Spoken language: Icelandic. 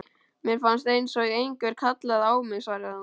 Mér fannst einsog einhver kallaði á mig, svaraði hún.